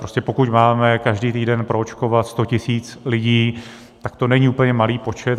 Prostě pokud máme každý týden proočkovat sto tisíc lidí, tak to není úplně malý počet.